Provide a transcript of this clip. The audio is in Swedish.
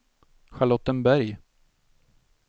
Charlottenberg